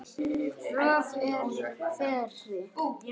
er öfri fer